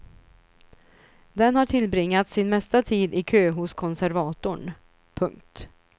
Den har tillbringat sin mesta tid i kö hos konservatorn. punkt